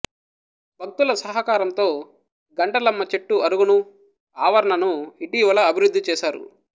భక్తుల సహకారంతో గంటలమ్మ చెట్టు అరుగును ఆవరణను ఇటీవల అభివృద్ధిచేసారు